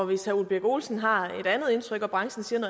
hvis herre ole birk olesen har et andet indtryk og branchen siger